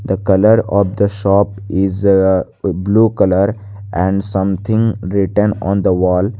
the colour of the shop is a blue colour and something written on the wall.